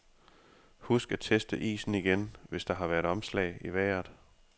Husk at teste isen igen, hvis der har været omslag i vejret.